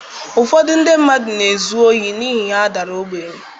Ụfọdụ ndị mmadụ na-ezu ohi n’ihi ha dara ogbenye.